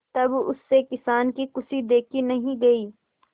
तब उससे किसान की खुशी देखी नहीं गई